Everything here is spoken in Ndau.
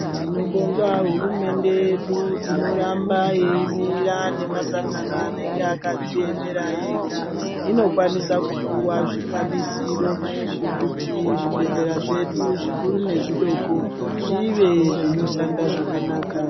Tinobonga hurumende yedu inoramba yeimira nemasangano anenge akadziemera ega. Inokwanisa kupuwa zvikwanisiro zvekuti zvibhedhlera zvedu zvikuru nezvidoko zvive zvinoshanda zvakanaka.